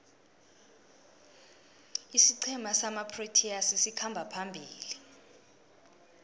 isiqhema samaproteas sikhamba phambili